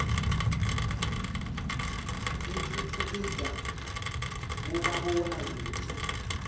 itfutfukida bomabona kudze